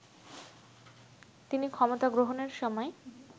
তিনি ক্ষমতা গ্রহণের সময়